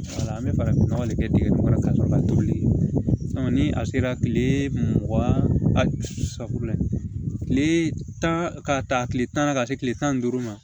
Wala an bɛ farafin nɔgɔ de kɛ dingɛ kɔnɔ ka sɔrɔ toli ni a sera tile mugan ani saba tile tan ka taa tile tan na ka se tile tan ni duuru ma